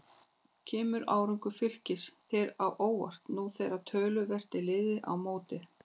Kemur árangur Fylkis þér á óvart nú þegar töluvert er liðið á mótið?